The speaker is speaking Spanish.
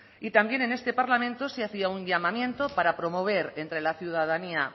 y también en este parlamento se hacía un llamamiento para promover entre la ciudadanía